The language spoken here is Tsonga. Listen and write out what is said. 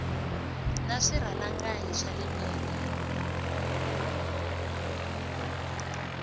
na swirhalanganyi swa le mirini